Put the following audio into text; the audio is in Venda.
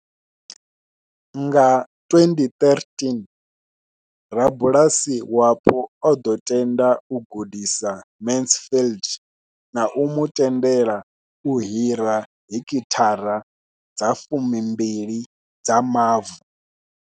Nga 2013, rabulasi wapo o ḓo tenda u gudisa Mansfield na u mu tendela u hira heki thara dza 12 dza mavu.